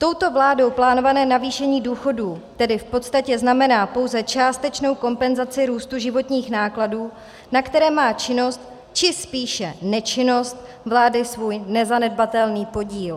Touto vládou plánované navýšení důchodů tedy v podstatě znamená pouze částečnou kompenzaci růstu životních nákladů, na které má činnost, či spíše nečinnost vlády svůj nezanedbatelný podíl.